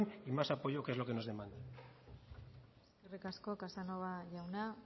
y más apoyo que es lo que nos demandan eskerrik asko casanova jauna